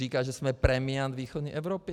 Říká, že jsme premiant východní Evropy.